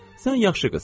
Sən yaxşı qızsan.